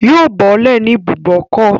Yóò bọ́lẹ̀ ní ibùbókọ̀